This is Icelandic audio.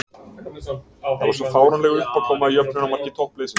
Það var svo fáránleg uppákoma í jöfnunarmarki toppliðsins.